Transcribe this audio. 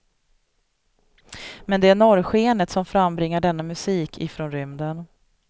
Men det är norrskenet som frambringar denna musik ifrån rymden.